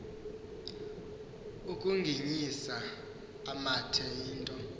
ukuginyisa amathe into